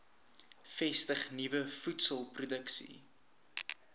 vestig nuwe voedselproduksie